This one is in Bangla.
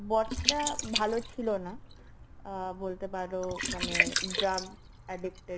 বরটা ভালো ছিল না, আ বলতে পারো মানে drug addicted